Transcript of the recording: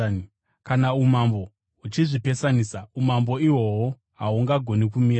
Kana umambo huchizvipesanisa, umambo ihwohwo hahugoni kumira.